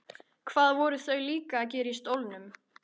Hvað voru þau líka að gera í stólnum?